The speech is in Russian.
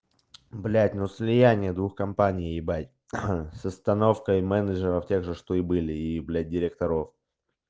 блядь ну слияние двух компаний ебать ха с остановкой менеджеров тех же что и были и блядь директоров